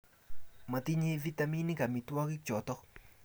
matinye vitaminik amitwogik choto